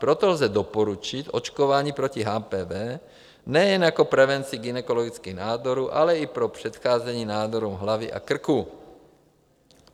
Proto lze doporučit očkování proti HPV nejen jako prevenci gynekologických nádorů, ale i pro předcházení nádorům hlavy a krku.